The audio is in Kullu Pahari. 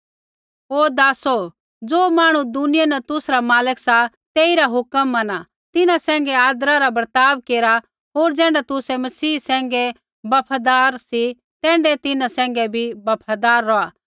हे दासो ज़ो मांहणु दुनिया न तुसरा मालक सा तेइरा हुक्म मना तिन्हां सैंघै आदरा रा बर्ताव केरा होर ज़ैण्ढा तुसै मसीह सैंघै बफादार सी तैण्ढै तिन्हां सैंघै भी बफादार रौहा